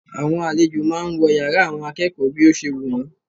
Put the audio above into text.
Àwọn àlejò máà ń wọ yàrá àwọn akẹ́kọ̀ọ́ bí ó ṣe wù wọ́n.